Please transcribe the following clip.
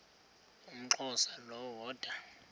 umxhosa lo woda